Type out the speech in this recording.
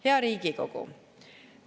Hea Riigikogu!